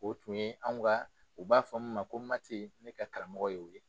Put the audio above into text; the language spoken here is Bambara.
O tun ye anw ka u b'a fɔ min ma ko Mati ne ka karamɔgɔ ye o ye.